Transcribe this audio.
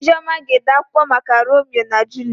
Ijeọma ga-ede akwụkwọ maka Romio na Juliet.